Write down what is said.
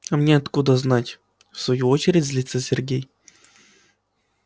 а мне откуда знать в свою очередь злится сергей